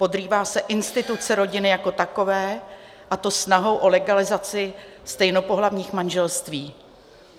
Podrývá se instituce rodiny jako takové, a to snahou o legalizaci stejnopohlavních manželství.